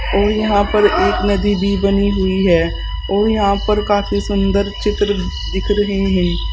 और यहां पर एक नदी भी बनी हुई है और यहां पर काफी सुंदर चित्र दिख रहे हैं।